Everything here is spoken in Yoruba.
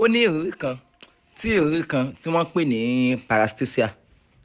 o ní ìrírí kan tí ìrírí kan tí wọ́n ń pè ní 'paraesthesia'